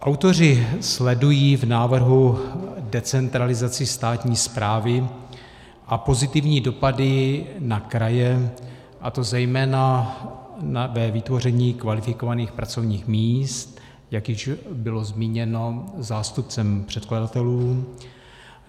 Autoři sledují v návrhu decentralizaci státní správy a pozitivní dopady na kraje, a to zejména ve vytvoření kvalifikovaných pracovních míst, jak již bylo zmíněno zástupcem předkladatelů.